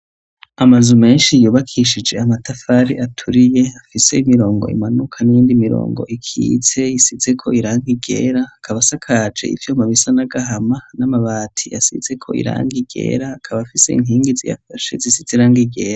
Amazu menshi yubakishije amatafari aturiye afise imirongo imanuka n'indi mirongo ikitse isize ko irangi ryera akaba asakaje ivyuma bisa n'agahama n'amabati asizeko irangi ryera akaba afise inkingi ziyafashe zisiz'irangi ryera.